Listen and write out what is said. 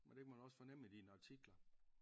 Men det kan man også fornemme i dine artikler